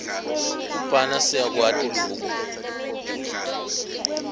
kubhala siyakwati loku